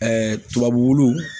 tubabu wulu